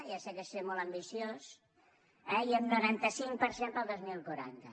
ja sé que és ser molt ambiciós eh i un noranta cinc per cent per al dos mil quaranta